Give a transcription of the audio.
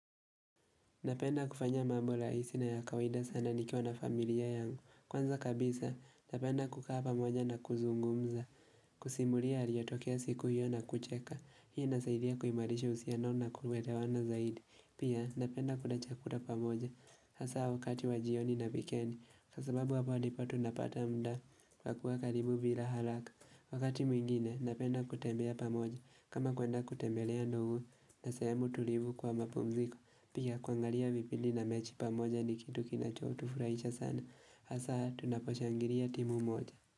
Napenda kufanya mambo rahisi na ya kawaida sana nikiwa na familia yangu. Kwanza kabisa, napenda kukaa pamoja na kuzungumza kusimulia yaliyotokea siku hiyo na kucheka. Hii nasaidia kuimarisha uhusiano na kuelewana na zaidi. Pia, napenda kula chakula pamoja hasa wakati wa jioni na wikendi kwa sababu hapa ndipo tunapata muda kwa kuwa karibu bila haraka. Wakati mwingine, napenda kutembea pamoja kama kwenda kutembelea ndugu na sehemu tulivu kwa mapumziko. Pika kuangalia vipindi na mechi pamoja ni kitu kinachotufurahisha sana hasa tunaposhangilia timu moja.